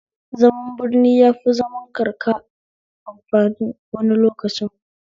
Zaman birni yafi zaman karka amfani wani lokacin